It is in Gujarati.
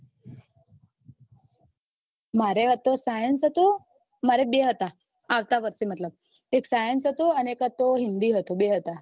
મારે હતો science હતો મરે બે હતા આવતા વર્ષે મતલબ એક science અને એક હતો હિન્દી બે હતા